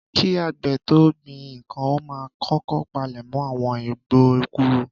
Kí àgbè tó gbin ǹkan ó máa kókó palẹ̀mọ́ àwọn igbó kúrò